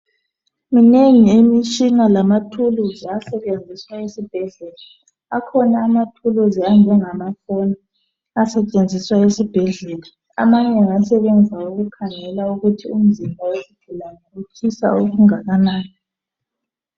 Minengi imitshina lamathuluzi asetshenziswa esibhedlela akhona amathuluzi anjengama foni, asetshenziswa esibhedlela, amanye asebenza ukukhangela ukuthi umzimba wesigulane utshisa okunganani.